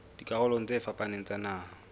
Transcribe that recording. dikarolong tse fapaneng tsa naha